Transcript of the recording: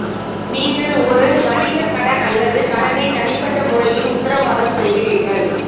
நீங்கள் ஒரு வணிக கடன் அல்லது கடனை தனிப்பட்ட முறையில் உத்தரவாதம் செய்கிறீர்கள்